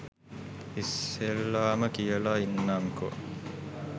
ඉස්සෙල්ලාම කියලා ඉන්නම්කො